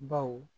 Baw